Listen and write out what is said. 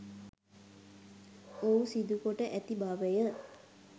ඔහු සිදු කොට ඇති බවය